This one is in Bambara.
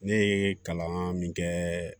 Ne ye kalan min kɛ